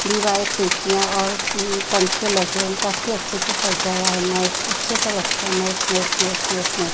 दीवारें खिडकियाँ और अम पंखे लगे वो काफी अच्छे से सजाया हैं नाइस अच्छे से रखा हैं nice nice nice nice nice --